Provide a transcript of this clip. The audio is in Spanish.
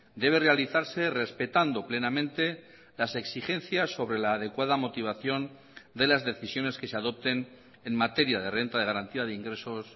debe realizarse respetando plenamente las exigencias sobre la adecuada motivación de las decisiones que se adopten en materia de renta de garantía de ingresos